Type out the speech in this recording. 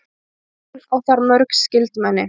Hún á þar mörg skyldmenni.